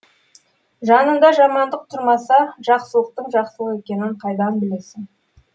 жанында жамандық тұрмаса жақсылықтың жақсылық екенін қайдан білесің